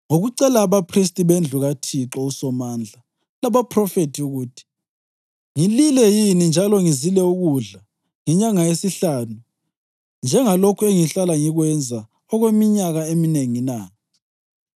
ngokucela abaphristi bendlu kaThixo uSomandla labaphrofethi ukuthi, “Ngilile yini njalo ngizile ukudla ngenyanga yesihlanu njengalokhu engihlala ngikwenza okweminyaka eminengi na?”